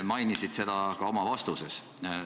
Mainisid seda ka oma vastuses.